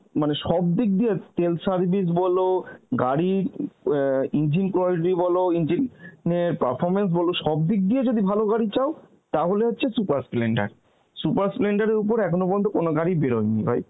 মানে সব দিক দিয়ে তেল service বলো গাড়ির অ্যাঁ engine quality বলো, engine অ্যাঁ performance বলো, সব দিক দিয়ে যদি ভালো গাড়ি চাও তাহলে হচ্ছে super splendor, super splendor এর ওপর এখনও কোনো গাড়ি বেরয়নি ভাই